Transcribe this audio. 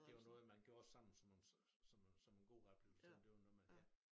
Det var noget man gjorde sammen som en som en god oplevelse det var noget man ja